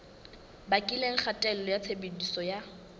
bakileng kgatello ya tshebediso ya